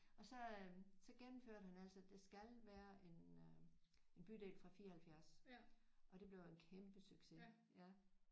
Og så øh så gennemførte han altså der skal være en øh en bydel fra 74 og det blev en kæmpe succes ja